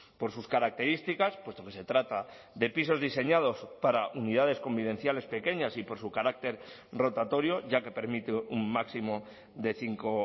por sus características puesto que se trata de pisos diseñados para unidades convivenciales pequeñas y por su carácter rotatorio ya que permite un máximo de cinco